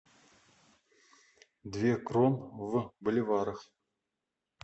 две крон в боливарах